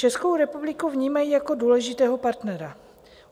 Českou republiku vnímají jako důležitého partnera.